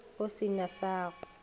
go se na sa go